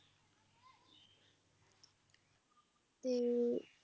ਤੇ